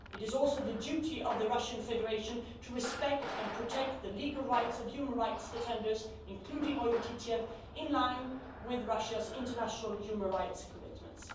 It is also the duty of the Russian Federation to respect and protect the legal rights of human rights defenders, including Oyub Titiev, in line with Russia's international human rights commitments.